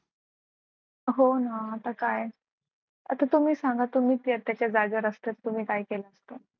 हो ना आता काय आता तुम्ही सांगा तुम्ही त्याच्या जागी जर असता तर तुम्ही काय केला असतं?